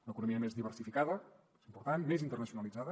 una economia més diversificada important més internacionalitzada